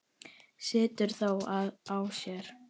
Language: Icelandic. Situr þó á sér.